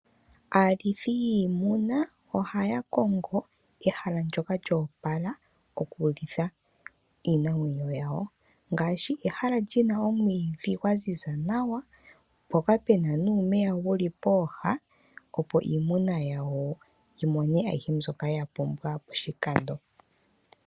Aalithi yiimuna ohaya kongo ehala ndyoka lyo opala okulitha iinamwenyo yawo. Ngaashi ehala li na omwiidhi gwa ziza nawa, mpoka pu na nuumeya wu li pooha, opo iimuna yawo yi mone ayihe mbyoka ya pumbwa poshikando.